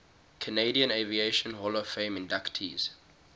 canadian aviation hall of fame inductees